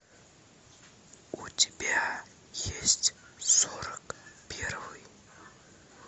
у тебя есть сорок первый